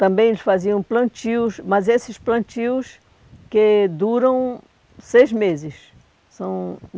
Também eles faziam plantios, mas esses plantios que duram seis meses. São